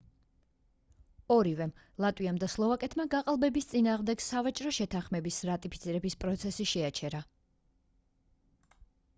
ორივემ ლატვიამ და სლოვაკეთმა გაყალბების წინააღმდეგ სავაჭრო შეთანხმების რატიფიცირების პროცესი შეაჩერა